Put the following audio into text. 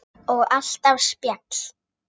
Og alltaf spjall.